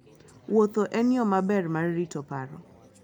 Wuotho en yo maber mar rito paro.